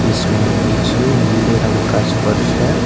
इसमें नीचे नीले रंग का स्पर्श है।